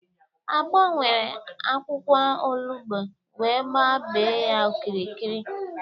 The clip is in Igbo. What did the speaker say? Agbo were akwụkwọ olugbo wee gbaa bee ya okirikiri.